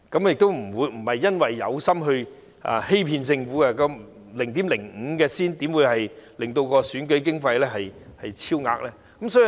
我不是刻意欺騙政府，而且 0.5 元又怎會令到選舉經費超額呢？